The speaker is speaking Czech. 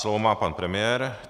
Slovo má pan premiér.